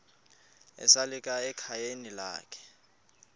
esalika ekhayeni lakhe